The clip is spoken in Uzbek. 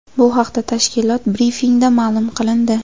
Bu haqda tashkilot brifingida ma’lum qilindi .